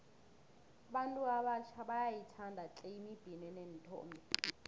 abantu abatjha bayayithanda tle imibhino eneenthombe